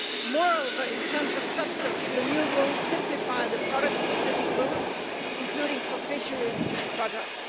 Moreover, in terms of substance, the new rules simplify the product specific rules, including for fisheries products.